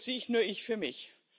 Jeder für sich, nur ich für mich.